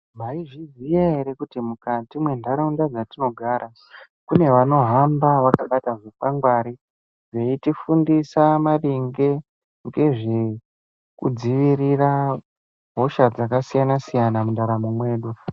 Mwaizviya ere kuti mukati mwentaraunda dzatinogara kune vanohamba vakabata zvikwangwari veitifundise maringe ngezvekudzivirira hosha dzakasiyana siyana mundaramo mwedu.